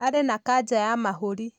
Arĩ na kansa ya mahũri.